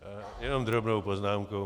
Jenom drobnou poznámku.